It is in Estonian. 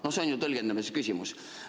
No see on ju tõlgendamise küsimus.